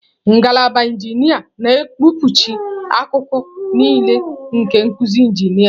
Ngalaba injinia na-ekpuchi akụkụ niile nke nkuzi injinia.